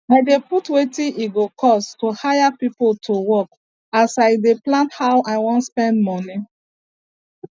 i dey put wetin e go cost to hire pipo to work as i dey plan how i wan spend moni